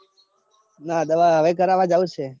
ના દવા હવે કરવા જાઉં છે.